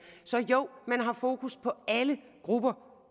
så jo man har fokus på alle grupper